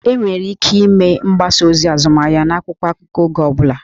Enwere ike ịme mgbasa ozi azụmahịa n'akwụkwọ akụkọ oge ọ bụla